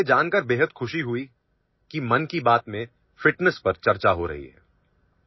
مجھے یہ جان کر بہت خوشی ہوئی کہ 'من کی بات' میں فٹنس پر بات ہو رہی ہے